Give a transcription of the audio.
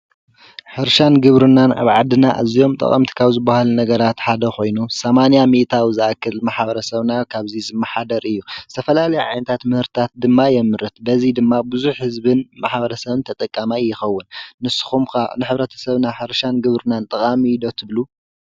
ሕርሻን ግብርናን ኣብ ዓድና ኣዚዮም ጠቐምቲ ካብ ዝብሃሉ ነገራት ሓደ ኾይኑ ሰማንያ ሚኢታዊ ዝኣክል ማሕበረ ሰብና ካብዙይ ዝመሓደር እዩ፡፡ ዝተፈላለየ ዓይነታት ምህርታት ድማ የምርት፡፡ በዙይ ድማ ብዙሐ ህዝብን ማሐበረ ሰብን ተጠቃማየ ይኸውን፡፡ ንስኹም ከ ንሕብረተ ሰብና ሕርሻን ግብርናን ጠቓሚ እዩ ዶ ትብሉ?